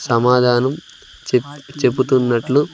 సమాధానం చేప్-- చెప్పుతున్నట్లు.